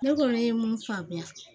Ne kɔni ye mun faamuya